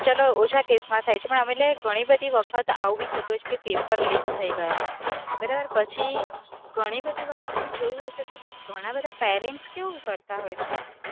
ચલો ઓછા case માં થાય છે, પણ એટલે ઘણી બધી વખત આવું ભી થતું હોય છે કે paper leak થઇ ગયા, બરાબર, પછી ઘણી બધી વખત તમે જોયું હશે તો ઘણા બધા parents કેવું કરતા હોય છે